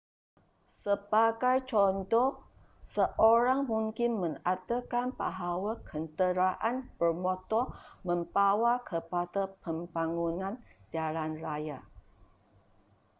sebagai contoh seorang mungkin mengatakan bahawa kenderaan bermotor membawa kepada pembangunan jalan raya